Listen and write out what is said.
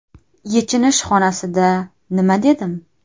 Yechinish xonasida nima dedim?